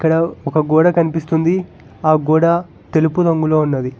ఇక్కడ ఒక గోడ కనిపిస్తుంది ఆ గోడ తెలుపు రంగులో ఉన్నది.